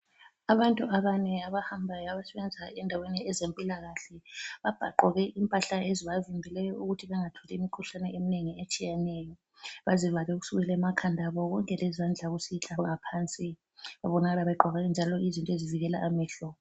Abantu abane abahambayo abasebenza endaweni ezempilakahle babhaquke impahla ezibavimbileyo ukuthi bangatholi imikhuhlane eminengi etshiyeneyo. Bazivale kusukela emakhanda abo konke lezandla kusehla ngaphansi babonakala begqoke njalo izinto ezivikela amehlo.